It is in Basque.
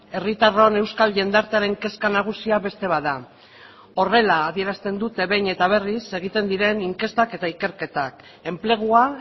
herritarron euskal jendartearen kezka nagusia beste bat da horrela adierazten dute behin eta berriz egiten diren inkestak eta ikerketak enplegua